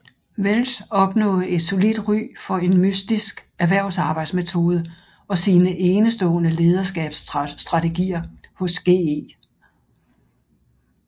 Welch opnåede et solidt ry for en mystisk erhversarbejdsmetode og sine enestående lederskabsstrategier hos GE